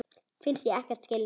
Finnst ég ekkert skilja.